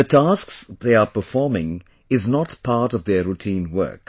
The tasks they are performing is not part of their routine work